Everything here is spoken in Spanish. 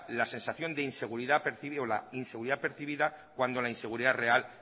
la sensación de inseguridad percibida o la inseguridad percibida cuando la inseguridad real